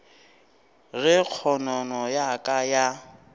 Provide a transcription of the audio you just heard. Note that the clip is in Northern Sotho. ge kgonono ya ka ya